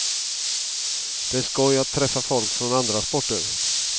Det är skoj att träffa folk från andra sporter.